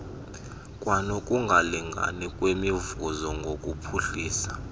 kwanokungalingani ngokwemivuzo ngokuphuhlisa